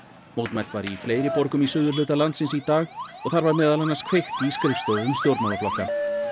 mótmælt var í fleiri borgum í suðurhluta landsins í dag og þar var meðal annars kveikt í skrifstofum stjórnmálaflokka